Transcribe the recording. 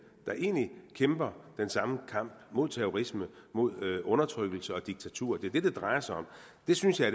der egentlig kæmper den samme kamp mod terrorisme mod undertrykkelse og diktatur det er det det drejer sig om det synes jeg